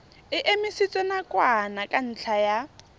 e emisitswe nakwana ka ntlha